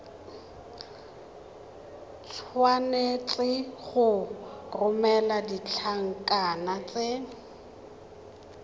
tshwanetse go romela ditlankana tse